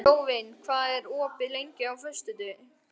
Jóvin, hvað er opið lengi á föstudaginn?